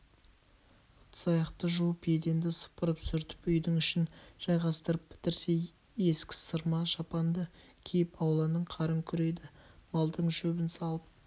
ыдыс-аяқты жуып еденді сыпырып-сүртіп үйдің ішін жайғастырып бітірсе ескі сырма шапанды киіп ауланың қарын күрейді малдың шөбін салып